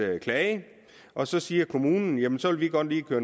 klage og så siger kommunen jamen så vil vi godt lige køre